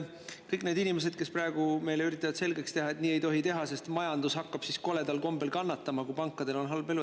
Meile üritatakse praegu selgeks teha, et nii ei tohi teha, sest majandus hakkab siis koledal kombel kannatama, kui pankadel on halb elu.